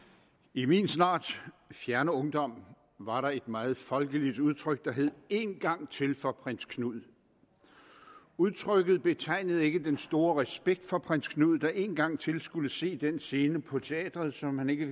i min snart fjerne ungdom var der et meget folkeligt udtryk der hed en gang til for prins knud udtrykket betegnede ikke den store respekt for prins knud der en gang til skulle se den scene på teatret som han ikke